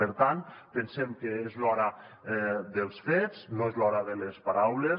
per tant pensem que és l’hora dels fets no és l’hora de les paraules